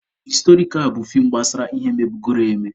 Historikal bụ fiim gbasara ihe mebugoro eme.